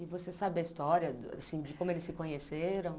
E você sabe a história do assim de como eles se conheceram?